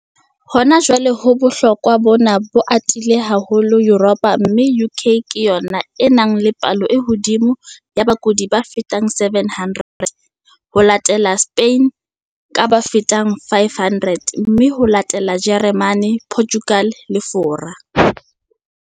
Hona jwale bohloko bona bo atile haholo Yuropa mme UK ke yona e nang le palo e hodimo ya bakudi ba fetang 700, ho latele Spain ka ba fetang 500 mme ho latele Jeremane, Portugal le Fora.